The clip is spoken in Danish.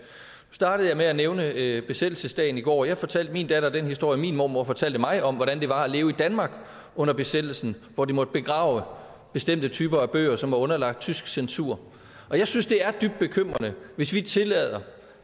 startede jeg med at nævne besættelsesdagen i går og jeg fortalte min datter den historie min mormor fortalte mig om hvordan det var at leve i danmark under besættelsen hvor de måtte begrave bestemte typer af bøger som var underlagt tysk censur og jeg synes det er dybt bekymrende hvis vi tillader